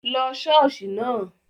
Lọ ṣọ́ọ̀ṣì náà!